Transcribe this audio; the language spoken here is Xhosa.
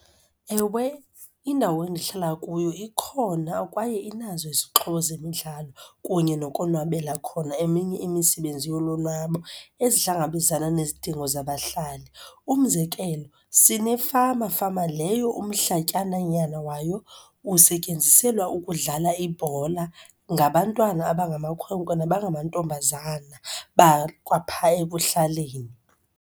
Ewe, indawo endihlala kuyo ikhona kwaye inazo izixhobo zemidlalo kunye nokonwabela khona eminye imisibenzi yolonwabo ezihlangabezana nezidingo zabahlali. Umzekelo sinefama, fama leyo umhlatyananyana wayo usetyenziselwa ukudlala ibhola ngabantwana abangamakhwenkwe nabangamantombazana bakwaphaa ekuhlaleni.